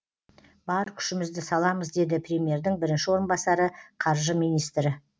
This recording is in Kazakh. бар күшімізді саламыз деді премьердің бірінші орынбасары қаржы министрі